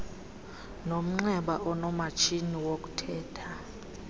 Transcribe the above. nomnxeba onomatshini wokuthetha